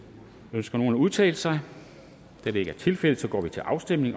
ønsker nogen at udtale sig da det ikke er tilfældet går vi til afstemning